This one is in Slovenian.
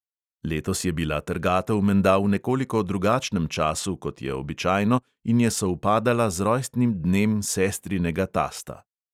Letos je bila trgatev menda v nekoliko drugačnem času, kot je običajno in je sovpadala z rojstnim dnem sestrinega tasta.